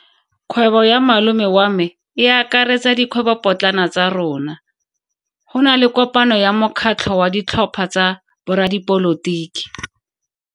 Kgwebo ya malome wa me e akaretsa dikgwebopotlana tsa rona. Go na le kopano ya mokgatlho wa ditlhopha tsa boradipolotiki.